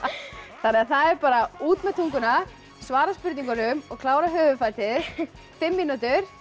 það er bara út með tunguna svara spurningunum og klára höfuðfatið fimm mínútur